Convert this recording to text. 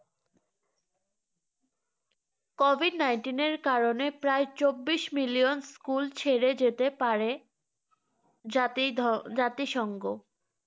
covid nineteen এর কারণে প্রায় চব্বিশ million school ছেড়ে যেতে পারে জাতি~ জাতিসংঘ